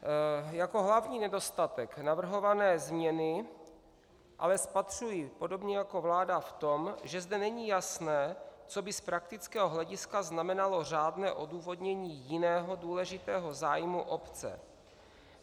Jako hlavní nedostatek navrhované změny ale spatřuji podobně jako vláda v tom, že zde není jasné, co by z praktického hlediska znamenalo řádné odůvodnění jiného důležitého zájmu obce.